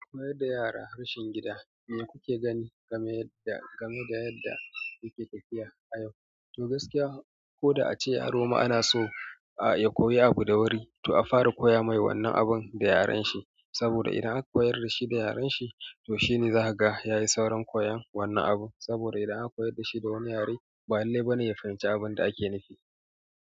Koyar da yara harshen gida me kuke gani game da yadda yake tafiya a yau? Toh gaskiya, ko da ace yaro ma yana so a ya koyi abu da wuri, to a fara koya mai wannan abun da yaren shi. Saboda idan aka koyar da shi da yaren shi, to shine za kaga ya yi saurin koyon wannan abu. Saboda idan aka koyar da shi da wani yare, ba lallai bane ya fahimci abun da ake nufi.